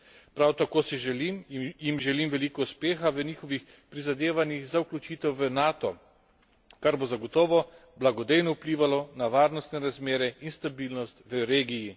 Prav tako jim želim veliko uspeha v njihovih prizadevanjih za vključitev v Nato, kar bo zagotovo blagodejno vplivalo na varnostne razmere in stabilnost v regiji.